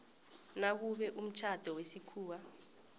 nakube umtjhado wesikhuwa